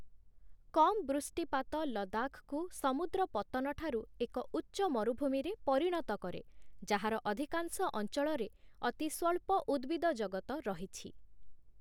କମ୍ ବୃଷ୍ଟିପାତ ଲଦାଖକୁ ସମୁଦ୍ର ପତ୍ତନଠାରୁ ଏକ ଉଚ୍ଚ ମରୁଭୂମିରେ ପରିଣତ କରେ, ଯାହାର ଅଧିକାଂଶ ଅଞ୍ଚଳରେ ଅତି ସ୍ୱଳ୍ପ ଉଦ୍ଭିଦଜଗତ ରହିଛି ।